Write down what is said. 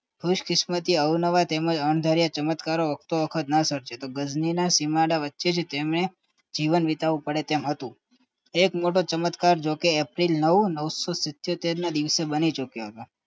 ખુશકિસ્મત અવનવા તેમજ અંધાર્યા ચમત્કાર વખતો વખત ન સરજે ગજની સીમાડા વચ્ચે તેમને જીવન વિતાવવું પડે તેમ હતું એક મોટો ચમત્કાર જોકે એપ્રિલ નવ નવસો સિતયોતર ના દિવસે બની ચૂક્યો હતો